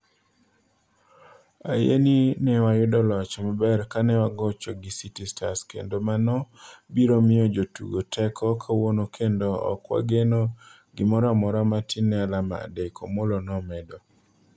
Ayie ni ne wayudo loch maber kanewagocho gi City Stars kendo mano biro miyo jotugo teko kawuono kendo ok wageno gimoro amora matin ne alama adekgo," Omollo nomedo.